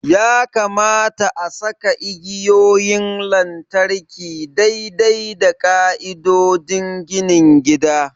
Ya kamata a saka igiyoyin lantarki daidai da ƙa'idodin ginin gida.